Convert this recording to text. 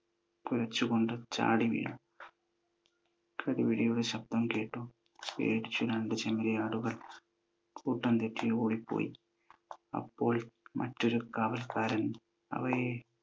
കുരച്ചു കൊണ്ട് ചാടി വീണു. കടിപിടിയുടെ ശബ്ദം കേട്ടു. പേടിച്ചു രണ്ടു ചെമ്മരിയാടുകൾ കൂട്ടം തെറ്റി ഓടി പോയി. അപ്പോൾ മറ്റൊരു കാവൽക്കാരൻ അവയെ